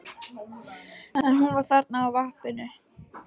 En hún var þarna á vappinu.